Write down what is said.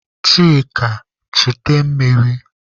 Chika chute mmiri!